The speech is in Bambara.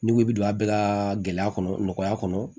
N'i ko i bi don a bɛɛ ka gɛlɛya kɔnɔ nɔgɔya kɔnɔ